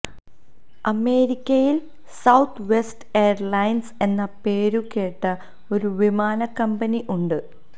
അമേരിക്കയില് Southwest airlines എന്ന പേരുകേട്ട ഒരു വിമാന കമ്പനി ഉണ്ട്